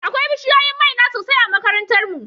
Akwai bishiyoyin maina sosai a makarantar mu.